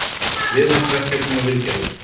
Viðhaldsverkefni og viðgerðir.